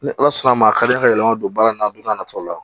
Ni ala sɔnna a ma a ka di n ye ka yɛlɛma don baara in na don n'a nataw la